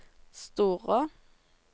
Storå